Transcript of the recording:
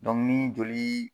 Dɔnku ni joli